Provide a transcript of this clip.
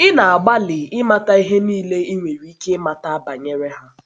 Ị na - agbalị ịmata ihe nile i nwere ike ịmata banyere ha.